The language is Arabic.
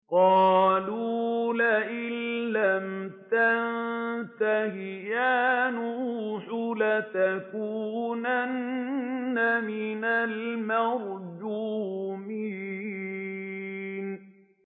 قَالُوا لَئِن لَّمْ تَنتَهِ يَا نُوحُ لَتَكُونَنَّ مِنَ الْمَرْجُومِينَ